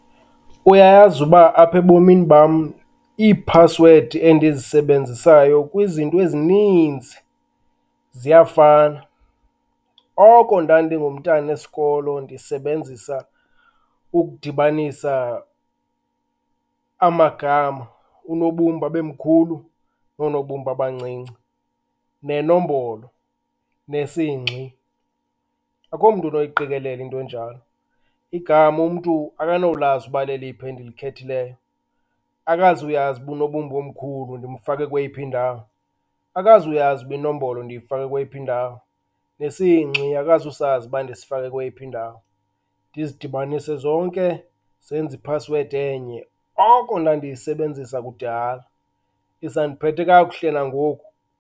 Uyayazi uba aphe ebomini bam ii-password endizisebenzisayo kwizinto ezininzi ziyafana, oko ndandingumntana esikolo ndisebenzisa ukudibanisa amagama, unobumba abemkhulu noonobumba abancinci nenombolo nesingxi. Akhomntu unoyiqikelela into enjalo, igama umntu akanolazi uba leliphi endilikhethileyo, akazuyazi uba unobumba omkhulu ndimfake kweyiphi ndawo, akazuyazi uba inombolo ndiyifake kweyiphi ndawo, nesingxi akuzisazi uba ndisifake kweyiphi ndawo. Ndizidibanise zonke zenze i-password enye, oko ndandiyisebenzisa kudala isandiphethe kakuhle nangoku.